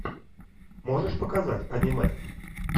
можешь показать аниме